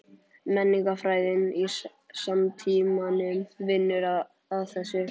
Menningarfræðin í samtímanum vinnur að þessu.